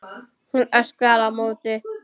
Hún öskrar á móti.